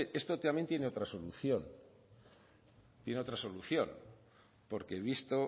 hombre esto también tiene otra solución porque visto